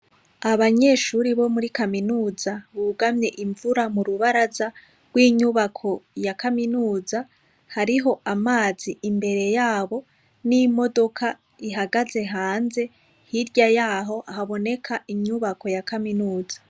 Abanyeshure bo muri Kaminuza, bugamye imvura murubaraza rwinyubako ya Kaminuza ,hari ho amazi imbere yabo n'imodoka ihagaze hanze, hirya yaho haboneka inyubako ya Kaminuza.